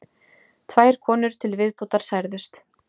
Tvær konur til viðbótar særðust